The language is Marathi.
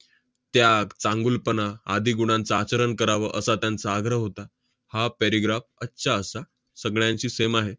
त्याग, चांगुलपणा आदी गुणांचा आचरण करावं, असा त्यांचा आग्रह होता. हा paragraph सगळ्यांशी same आहे.